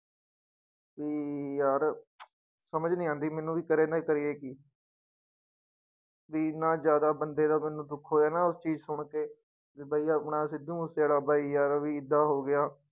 ਕਿ ਯਾਰ ਸਮਝ ਨੀ ਆਉਂਦੀ ਮੈਨੂੰ ਵੀ ਕਰੇ ਨਾ ਕਰੀਏ ਕੀ ਵੀ ਇੰਨਾ ਜ਼ਿਆਦਾ ਬੰਦੇ ਦਾ ਮੈਨੂੰ ਦੁੱਖ ਹੋਇਆ ਨਾ ਉਸ ਚੀਜ਼ ਸੁਣਕੇ, ਵੀ ਬਾਈ ਆਪਣਾ ਸਿੱਧੂ ਮੂਸੇਵਾਲਾ ਬਾਈ ਯਾਰ ਵੀ ਏਦਾਂ ਹੋ ਗਿਆ।